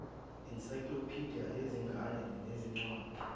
ensaykilophidiya ezingane nezincwadi